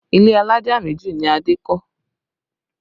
Ilé alájà méjì ni Adé kọ́